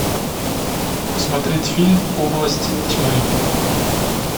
смотреть фильм область тьмы